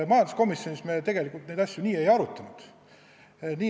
Majanduskomisjonis me tegelikult neid asju nii ei arutanud.